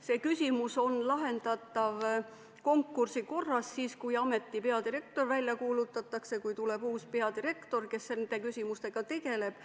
See küsimus on lahendatav konkursi korras siis, kui ameti peadirektori konkurss välja kuulutatakse ja kui tuleb uus peadirektor, kes nende küsimustega tegeleb.